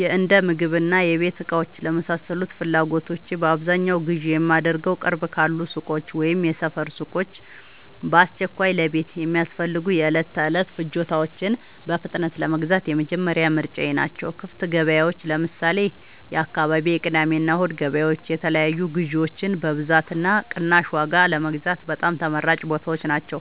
የእንደምግብና የቤት እቃዎች ለመሳሰሉት ፍላጎቶቼ በአብዛኛው ግዢ የማደርገዉ፦ ቅርብ ካሉ ሱቆች (የሰፈር ሱቆች)፦ በአስቸኳይ ለቤት የሚያስፈልጉ የዕለት ተዕለት ፍጆታዎችን በፍጥነት ለመግዛት የመጀመሪያ ምርጫየ ናቸው። ክፍት ገበያዎች (ለምሳሌ፦ የአካባቢው የቅዳሜና እሁድ ገበያዎች) የተለያዩ ግዥዎችን በብዛትና በቅናሽ ዋጋ ለመግዛት በጣም ተመራጭ ቦታዎች ናቸው።